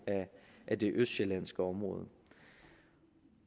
af det østsjællandske område